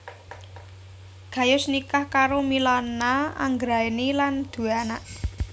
Gayus nikah karo Milana Anggraeni lan duwé anak